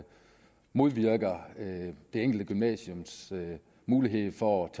modvirker det enkelte gymnasiums mulighed for at